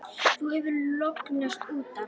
Þú hefur lognast út af!